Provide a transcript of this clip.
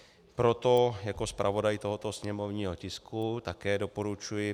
Proto jako zpravodaj tohoto sněmovního tisku také doporučuji